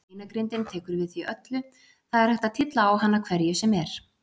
Beinagrindin tekur við því öllu, það er hægt að tylla á hana hverju sem er.